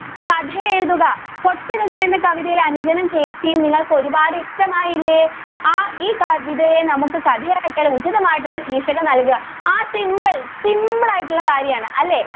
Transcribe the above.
കഥ എഴുതുക കൊച്ചനുജന്‍ എന്ന കവിതയില്‍ അനുജനും, ചേച്ചിയും നിങ്ങള്‍ക്ക് ഒരുപാട് ഇഷ്ടമായില്ലേ. ആ ഈ കവിതയെ നമുക്ക് കഥയാക്കിയാലോ. ഉചിതമായിട്ടുള്ള ശീര്‍ഷകം നല്‍കുക ആ simple simple ആയിട്ടുള്ള കാര്യാണ് അല്ലേ?